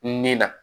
Nin na